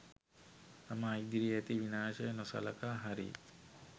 තමා ඉදිරියේ ඇති විනාශය නොසළකා හරියි